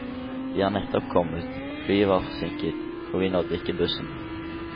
Vi er nettopp kommet, flyet var forsinket, og vi nådde ikke bussen.